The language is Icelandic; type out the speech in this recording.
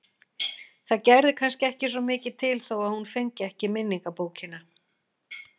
Það gerði kannski ekki svo mikið til þó að hún fengi ekki minningabókina.